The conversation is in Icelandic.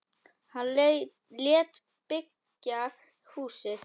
Hann lét byggja húsið.